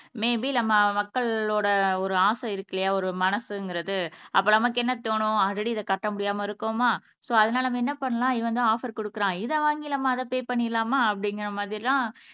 may be நம்ம மக்களோட ஒரு ஆசை இருக்கில்லையா ஒரு மனசுங்கிறது அப்ப நமக்கு என்ன தோணும் ஆல்ரெடி இதை கட்ட முடியாம இருக்கோமா சோ அதனால நம்ம என்ன பண்ணலாம் இவன் வந்து ஆபர் குடுக்குறான் இதை வாங்கி நம்ம அதை பெ பண்ணிரலாமா அப்படிங்கிற மாதிரி எல்லாம்